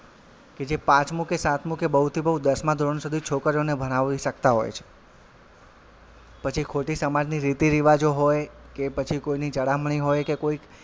કે જે પાંચમું કે સાતમું કે બવથી બવ દસમાં ધોરણ સુધી છોકરીઓને ભણાવી શકતા હોય છે પછી ખોટી સમાજની રીતી -રીવાજો હોય કે પછી કોઈની ચડામણી હોય કે કોઈક,